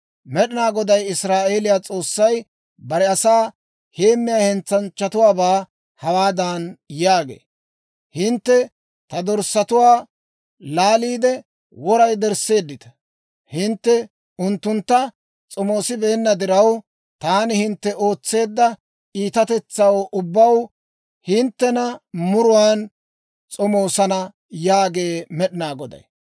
Med'inaa Goday Israa'eeliyaa S'oossay bare asaa heemmiyaa hentsanchchatuwaabaa hawaadan yaagee; «Hintte ta dorssatuwaa laaliide, wora yedersseeddita. Hintte unttuntta s'omoosibeenna diraw, taani hintte ootseedda iitatetsaw ubbaw hinttena muruwaan s'omoosana yaagee Med'inaa Goday.